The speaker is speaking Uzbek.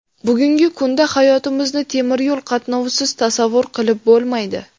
Bugungi kunda hayotimizni temir yo‘l qatnovisiz tasavvur qilib bo‘lmaydi.